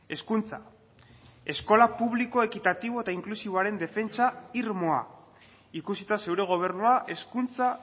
hezkuntza eskola publiko ekitatibo eta inklusiboaren defentsa irmoa ikusita zure gobernua hezkuntza